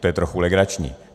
To je trochu legrační.